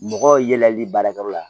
Mɔgɔ yɛlɛli baarakɛyɔrɔ la